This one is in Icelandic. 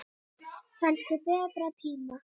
Kannski betri tíma.